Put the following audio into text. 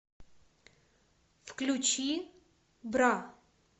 включи бра